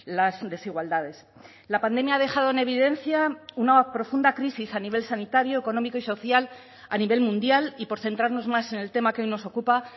las desigualdades la pandemia ha dejado en evidencia una profunda crisis a nivel sanitario económico y social a nivel mundial y por centrarnos más en el tema que hoy nos ocupa